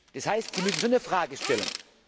Das heißt, Sie müssen schon die Frage stellen.